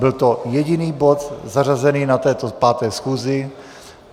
Byl to jediný bod zařazený na této 5. schůzi.